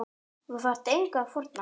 Þú þarft engu að fórna.